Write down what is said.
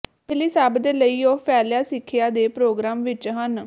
ਪਹਿਲੀ ਸਭ ਦੇ ਲਈ ਉਹ ਫੈਲਿਆ ਸਿੱਖਿਆ ਦੇ ਪ੍ਰੋਗਰਾਮ ਵਿੱਚ ਹਨ